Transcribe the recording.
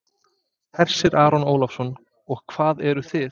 Hersir Aron Ólafsson: Og hvað eruð þið?